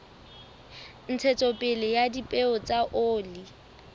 ntshetsopele ya dipeo tsa oli